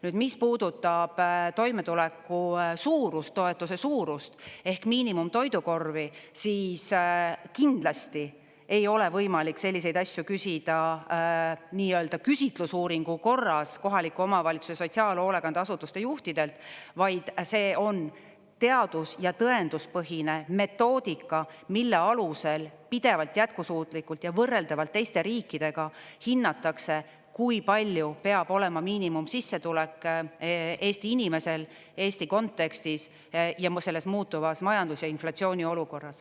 Nüüd, mis puudutab toimetuleku suurust, toetuse suurust ehk miinimumtoidukorvi, siis kindlasti ei ole võimalik selliseid asju küsida nii-öelda küsitlusuuringu korras kohaliku omavalitsuse sotsiaalhoolekande asutuste juhtidelt, vaid see on teadus- ja tõenduspõhine metoodika, mille alusel pidevalt, jätkusuutlikult ja võrreldavalt teiste riikidega hinnatakse, kui palju peab olema miinimumsissetulek Eesti inimesel Eesti kontekstis ja selles muutuvas majandus- ja inflatsiooniolukorras.